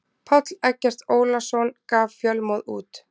Páll Eggert Ólason gaf Fjölmóð út.